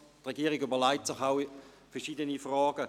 Die Regierung stellt sich vielmehr verschiedene Fragen: